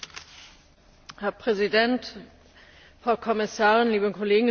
Herr Präsident, Frau Kommissarin, liebe Kolleginnen und Kollegen!